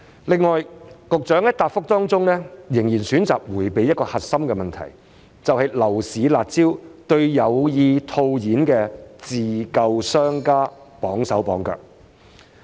此外，局長在主體答覆仍然選擇迴避一個核心的問題，便是樓市"辣招"對有意套現自救的商家綁手綁腳。